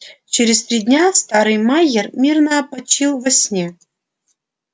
через три дня старый майер мирно опочил во сне